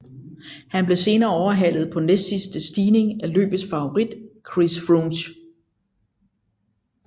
Han blev senere overhalet på næstsidste stigning af løbets favorit Chris Froome